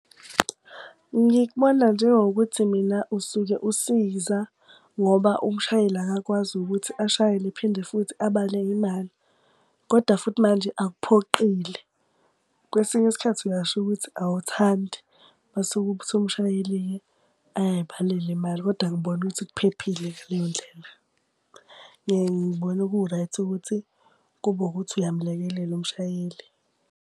Ngikubona njengokuthi mina usuke usiza ngoba umshayeli akakwazi ukuthi ashayele, phinde futhi abale imali. Koda futhi manje akuphoqile. Kwesinye isikhathi uyasho ukuthi awuthandi, mase kuthi umshayeli-ke ayay'balela imali. Kodwa angiboni ukuthi kuphephile ngaleyo ndlela. Ngiyaye ngibone ku-right ukuthi kube wukuthi uyamlekelela umshayeli.